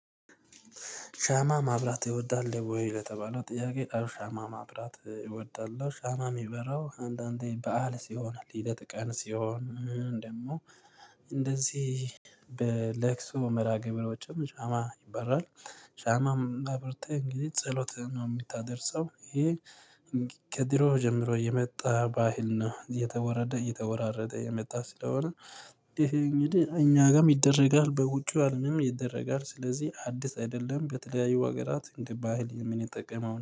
ሻማ ማብራት ይወዳል ወይ? ለተባለው ጥያቄ ሻማ ማብራት እወዳለው። ሻማ የሚበራው አንዳንዴ በዓል ሲሆን ልደት ቀን ሲሆን ደግሞ እንደዚህ መራ ግብሮችም ሻማ ይበራል። ሻማም አብርተህ እንግዲህ ጸሎት ነው የምታደርሰው ይሄ። ከድሮ ጀምሮ የመጣ ባህል ነው የተወረደ የተወራረደ የመጣ ስለሆነ እንዴ እኛ ጋርም ይደረጋል በውጭ አለምም ይደረጋል። ስለዚህ አዲስ አይደለም በተለያዩ ሀገራት እንደ ባህል ምንጠቀመው